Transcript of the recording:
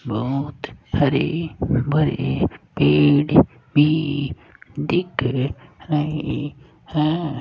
बहोत हरे भरे पेड़ भी दिख रहे हैं।